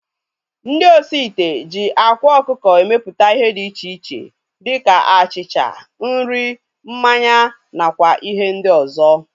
Ndị osi ite ji ákwá ọkụkọ emeputa ihe dị iche iche dịka achịcha, nri, mmanya na kwa ihe ndị ọzọ